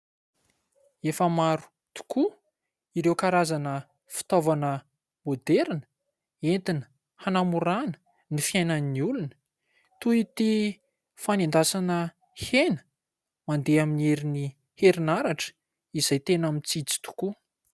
Efa maro tokoa ireo karazana fitaovana moderina entina hanamoràna ny fiainan'ny olona toy ity fanendasana hena mandeha amin'ny herin' ny herinaratra izay tena mitsitsy tokoa.